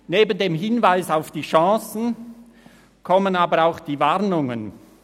Neben dem Hinweis auf die Chancen kommen aber auch die Warnungen.